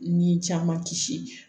Ni caman kisi